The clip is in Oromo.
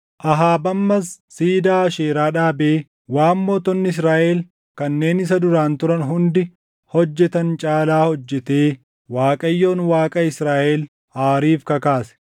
Ahaab ammas siidaa Aasheeraa dhaabee waan mootonni Israaʼel kanneen isa duraan turan hundi hojjetan caalaa hojjetee Waaqayyoon Waaqa Israaʼel aariif kakaase.